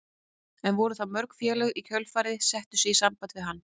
En voru það mörg félög sem í kjölfarið settu sig í samband við hann?